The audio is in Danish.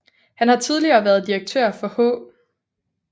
Han har tidligere været direktør for H